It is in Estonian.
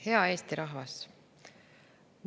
Hea Eesti rahvas!